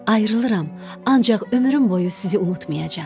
Ancaq ömrüm boyu sizi unutmayacam.